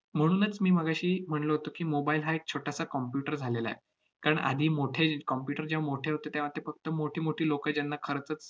म्हणूनच मी मगाशी म्हणलो होतो की, mobile हा एक छोटासा computer झालेला आहे. कारण आधी मोठे computer जेव्हा मोठे होते, तेव्हा ती फक्त मोठीमोठी लोकं ज्यांना खरंचंच